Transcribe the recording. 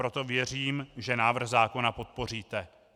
Proto věřím, že návrh zákona podpoříte.